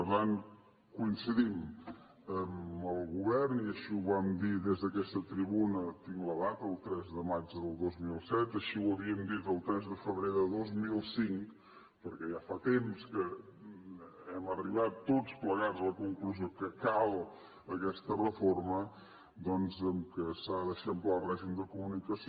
per tant coincidim amb el govern i així ho vam dir des d’aquesta tribuna tinc la data el tres de maig del dos mil set així ho havíem dit el tres de febrer de dos mil cinc perquè ja fa temps que hem arribat tots plegats a la conclusió que cal aquesta reforma doncs que s’ha d’eixamplar el règim de comunicació